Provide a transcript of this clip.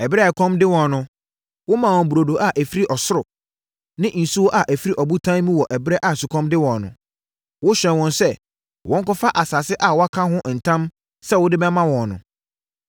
Ɛberɛ a ɛkɔm de wɔn no, womaa wɔn burodo a ɛfiri ɔsoro ne nsuo a ɛfiri ɔbotan mu wɔ ɛberɛ a sukɔm de wɔn no. Wohyɛɛ wɔn sɛ wɔnkɔfa asase a woaka ho ntam sɛ wode bɛma wɔn no.